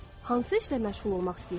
Hansı işlə məşğul olmaq istəyirsiniz?